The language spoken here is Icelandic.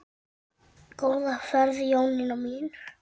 Góða ferð Jónína mín.